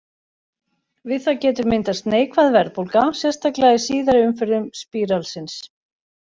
Við það getur myndast neikvæð verðbólga, sérstaklega í síðari umferðum spíralsins.